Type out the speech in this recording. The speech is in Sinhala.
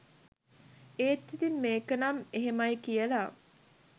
ඒත් ඉතින් මේකනම් එහෙමයි කියලා